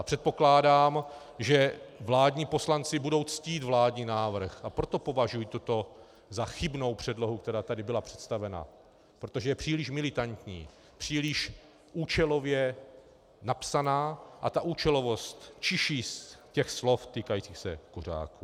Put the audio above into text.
A předpokládám, že vládní poslanci budou ctít vládní návrh, a proto považuji toto za chybnou předlohu, která tady byla představena, protože je příliš militantní, příliš účelově napsaná a ta účelovost čiší z těch slov týkajících se kuřáků.